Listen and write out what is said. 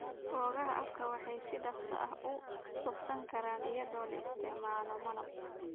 Boogaha afka waxay si dhakhso ah u bogsan karaan iyadoo la isticmaalayo malab.